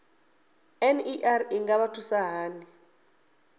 ner i nga vha thusa hani